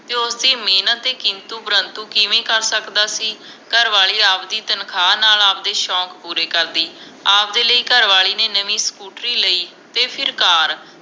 ਤੇ ਉਸ ਦੀ ਮੇਹਨਤ ਤੇ ਕਿੰਤੂ ਪ੍ਰੰਤੂ ਕਿਮੇ ਕਰ ਸਕਦਾ ਸੀ ਘਰਵਾਲੀ ਆਵਦੀ ਤਨਖਾਂ ਨਾਲ ਆਵਦੇ ਸ਼ੋਂਕ ਪੂਰੇ ਕਰਦੀ ਆਵਦੇ ਲਈ ਘਰਵਾਲੀ ਨੇ ਨਵੀ ਸਕੂਟਰੀ ਲਈ ਤੇ ਫਿਰ ਕਾਰ